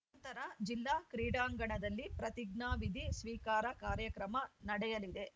ನಂತರ ಜಿಲ್ಲಾ ಕ್ರೀಡಾಂಗಣದಲ್ಲಿ ಪ್ರತಿಜ್ಞಾವಿಧಿ ಸ್ವೀಕಾರ ಕಾರ್ಯಕ್ರಮ ನಡೆಯಲಿದೆ